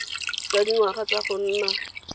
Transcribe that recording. jwa dingwaga tsa go nna